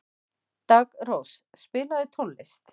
Daggrós, spilaðu tónlist.